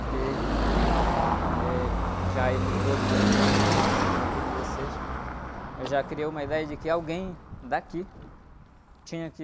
Porque, eh, já aí nos doze anos, quinze anos, quando eu completei dezesseis, eu já criei uma ideia de que alguém daqui tinha que...